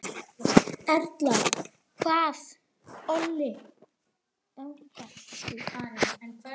Erla, hvað olli þessum deilum?